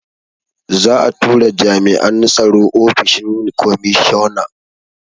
Za'a tura jami'an tsaro ofishin komishona.